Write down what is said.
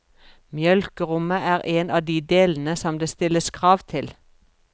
Mjølkerommet er en av de delene som det stilles krav til.